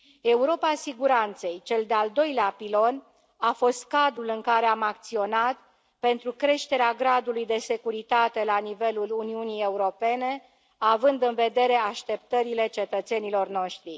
Europa siguranței cel de al doilea pilon a fost cadrul în care am acționat pentru creșterea gradului de securitate la nivelul Uniunii Europene, având în vedere așteptările cetățenilor noștri.